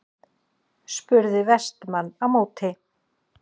spurði Vestmann á móti.